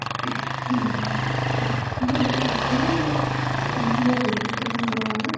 ଆଁ ମାନେ ଯେତିକି ଆସି ଥିଲେ ସମସ୍ତ ଙ୍କର registration କରାଗଲା